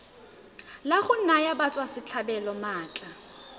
la go naya batswasetlhabelo maatla